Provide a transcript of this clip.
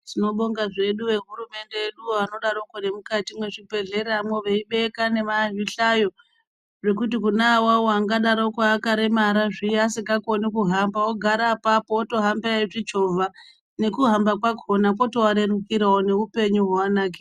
Tinobonga zvedu vehurumende yeduyo vanodarokwo nemukati mwezvibhendleyamwo veibeka nemazvihlayo. Zvekuti kune awawo akadarokwo akaremara zviya vasingakoni kuhamba ogara apapo votohamba veizvichovha. Nekuhamba kwakhona kwotovarerukirawo neupenyu hwoanakira.